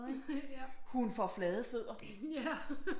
Ikke hun får flade fødder